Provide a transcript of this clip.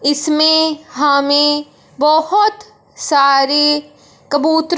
इसमें हमें बहोत सारी कबूतर--